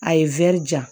A ye ja